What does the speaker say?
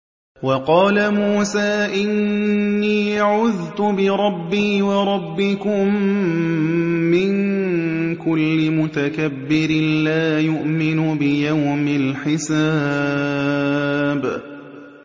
وَقَالَ مُوسَىٰ إِنِّي عُذْتُ بِرَبِّي وَرَبِّكُم مِّن كُلِّ مُتَكَبِّرٍ لَّا يُؤْمِنُ بِيَوْمِ الْحِسَابِ